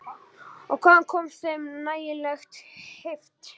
Og hvaðan kom þeim nægjanleg heift?